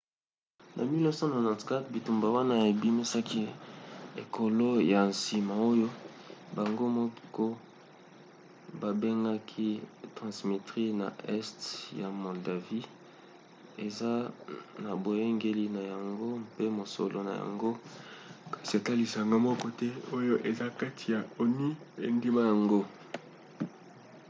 na 1994 bitumba wana ebimisaki ekolo ya nsima oyo bango moko babengaki transnistrie na este ya moldavie eza na boyangeli na yango mpe mosolo na yango kasi ata lisanga moko te oyo eza kati ya onu endima yango